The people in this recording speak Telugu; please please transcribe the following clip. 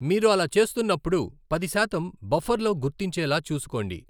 మీరు అలా చేస్తున్నప్పుడు, పది శాతం బఫర్లో గుర్తించేలా చూసుకోండి.